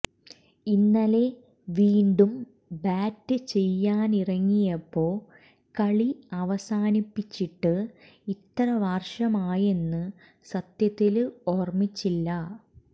ഇന്നലെ വീണ്ടും ബാറ്റ് ചെയ്യാനിറങ്ങിയപ്പൊ കളി അവസാനിപ്പിച്ചിട്ട് ഇത്ര വര്ഷമായെന്ന് സത്യത്തില് ഓര്മിച്ചില്ല